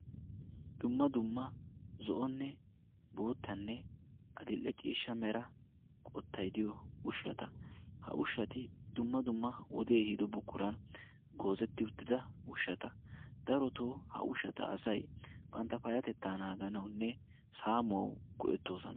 dumma dumma zo'onne boottanne adil'e ciishsha mera qottaidiyo ushshata ha ushshati dumma dumma wodee biido buqquran goozetti uttida ushshata darotoo ha ushata asay bantta payatettaa naaganawunne saamuwau go'ettoosona